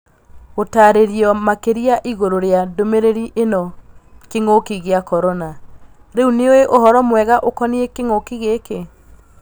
Gũtarĩrio makĩria igűrũ rĩa ndũmĩrĩri ĩno Kĩng'ũki gĩa korona : Rĩu nĩũĩ ũhoro mwega ukoniĩ kĩng'ũki gĩkĩ?